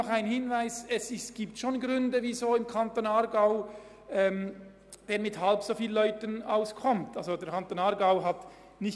Noch ein Hinweis: Es gibt Gründe, weshalb im Kanton Aargau nur halb so viele Leute in diesem Bereich beschäftigt sind.